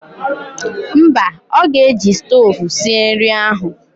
Mba, ọ ga-eji stoovu sie nri ahụ